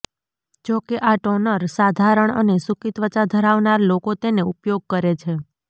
જોકે આ ટોનર સાધારણ અને સૂકી ત્વચા ધરાવનાર લોકો તેને ઉપયોગ કરે છે